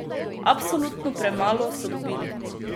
Absolutno premalo so dobili!